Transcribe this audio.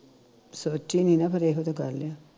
ਸੋਚੀ ਨੀ ਨਾ ਫਿਰ ਇਹੋ ਤੇ ਗੱਲ ਆ